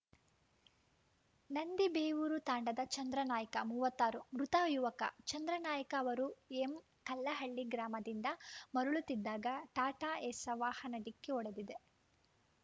ನಂದಿಬೇವೂರು ತಾಂಡಾದ ಚಂದ್ರನಾಯ್ಕಮೂವತ್ತ್ ಆರು ಮೃತ ಯುವಕ ಚಂದ್ರನಾಯ್ಕ ಅವರು ಎಂಕಲ್ಲಹಳ್ಳಿ ಗ್ರಾಮದಿಂದ ಮರಳುತ್ತಿದ್ದಾಗ ಟಾಟಾಏಸ್‌ ವಾಹನ ಡಿಕ್ಕಿ ಹೊಡೆದಿದೆ